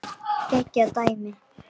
Geggjað dæmi.